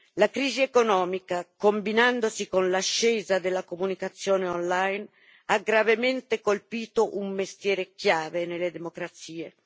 La crisi economica, combinandosi con l'ascesa della comunicazione online, ha gravemente colpito un mestiere chiave nelle democrazie.